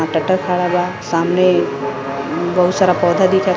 यहां टैक्टर खडा बा। सामने बहुत सारा पौधा दिखत --